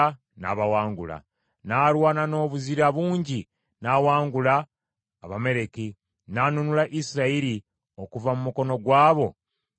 N’alwana n’obuzira bungi n’awangula Abamaleki, n’anunula Isirayiri okuva mu mukono gw’abo abaabanyaganga.